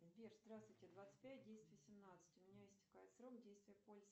сбер здравствуйте двадцать пять десять восемнадцать у меня истекает срок действия полиса